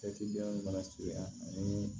mana feere yanni